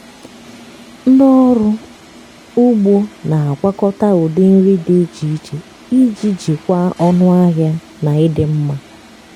ndị ọrụ ugbo na-agwakọta ụdị nri dị iche iche iji jikwaa ọnụ ahịa na ịdị mma.